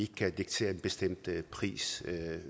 kan diktere en bestemt pris